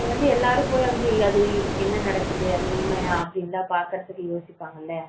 அப்போ எல்லாரும் போய் வந்து என்ன நடக்குது அது உண்மையா அப்படின்னு பார்க்க யோசிபங்களா